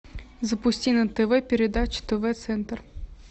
запусти на тв передачу тв центр